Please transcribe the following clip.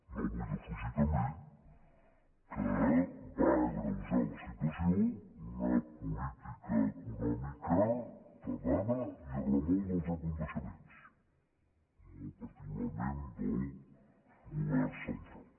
no vull defugir també que va agreujar la situació una política econòmica tardana i a remolc dels esdeveniments molt particularment del govern central